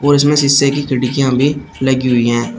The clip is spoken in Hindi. इसमें शीशे की खिड़कियां भी लगी हुई है।